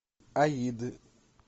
аид